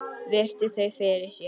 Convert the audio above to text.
Virti þau fyrir sér.